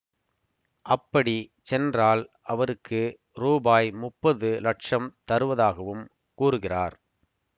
அப்படி சென்றால் அவருக்கு ரூபாய் முப்பது லட்சம் தருவதாகவும் கூறுகிறார்